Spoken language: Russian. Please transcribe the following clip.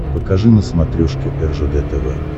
покажи на смотрешке ржд тв